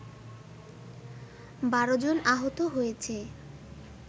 ১২ জন আহত হয়েছে